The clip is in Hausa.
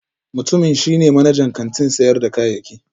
Mutumin shi ne manajan kantin sayar da kayayyaki